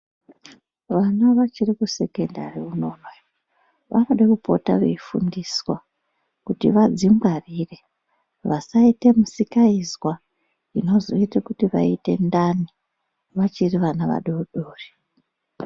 Vana vachiri kusekendari unoonoyo vanode kupota veifundiswa kuti vadzingwarire vasaite musikaizwa inozoite kuti vaite ndani vachiri vana vadoodori.